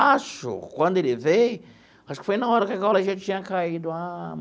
Acho, quando ele veio, acho que foi na hora que a gaiola já tinha caído. Ah.